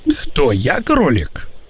что я кролик